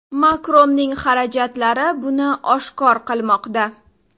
Makronning xarajatlari buni oshkor qilmoqda.